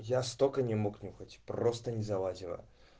я столько не мог нюхать просто не залазило